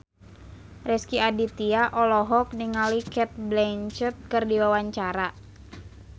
Rezky Aditya olohok ningali Cate Blanchett keur diwawancara